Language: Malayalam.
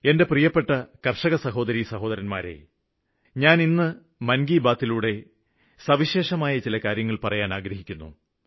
എന്റെ പ്രിയപ്പെട്ട കര്ഷകസഹോദരീസഹോദരന്മാരേ ഞാന് വീണ്ടും എന്റെ മനസ്സിലുള്ള കാര്യങ്ങള് പറയാന് ആഗ്രഹിക്കുന്നു